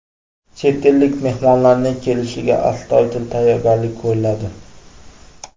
Chet ellik mehmonlarning kelishiga astoydil tayyorgarlik ko‘riladi.